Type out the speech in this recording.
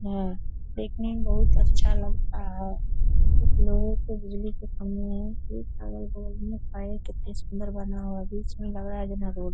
यह देखने मे बहुत अच्छा लगता है कुछ लोगो को बिजली के खंभे अगल-बगल में --